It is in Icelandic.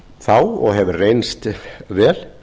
þá og hefði reynst vel